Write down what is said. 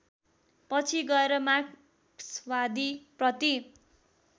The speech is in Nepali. पछि गएर मार्क्सवादीप्रति